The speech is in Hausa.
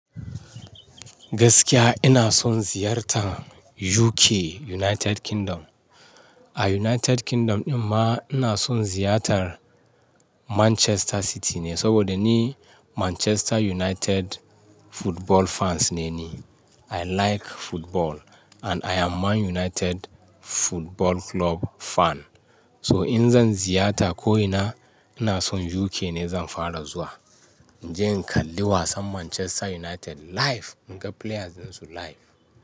Gaskiya ina son ziyartar UK, United Kingdom. A United Kingdom ɗin ma ina son ziyartar Manchester City ne saboda ni Manchester United football fans ne ni. I like football and I am Man United Football Club fan. So in zan ziyata ko ina, ina son UK ne zan fara zuwa. In je in kalli wasan Manchester United live, in ga playersansu live.